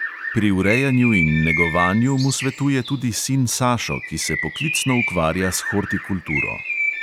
Pri urejanju in negovanju mu svetuje tudi sin sašo, ki se poklicno ukvarja s hortikulturo.